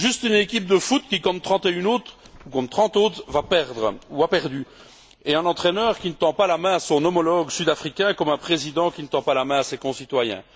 Juste une équipe de foot qui, comme 31 autres, ou comme 30 autres, va perdre ou a perdu, et un entraîneur qui ne tend pas la main à son homologue sud africain, comme un président qui ne tend pas la main à ses concitoyens.